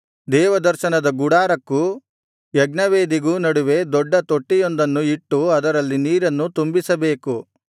ದೇವದರ್ಶನದ ಗುಡಾರಕ್ಕೂ ಯಜ್ಞವೇದಿಗೂ ನಡುವೆ ದೊಡ್ಡ ತೊಟ್ಟಿಯೊಂದನ್ನು ಇಟ್ಟು ಅದರಲ್ಲಿ ನೀರನ್ನು ತುಂಬಿಸಬೇಕು